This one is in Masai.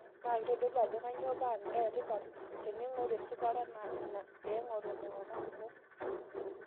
NA keotodolu ajo kanyoo paa embaa etipat teningi'oru esipata na ina peeng'or ilntung'ana kumok